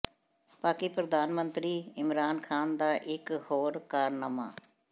ਪਾਕਿ ਪ੍ਰਧਾਨ ਮੰਤਰੀ ਇਮਰਾਨ ਖ਼ਾਨ ਦਾ ਇੱਕ ਹੋਰ ਕਾਰਨਾਮਾ